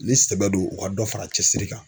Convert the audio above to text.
Ni sɛbɛ do u ka dɔ fara cɛsiri kan.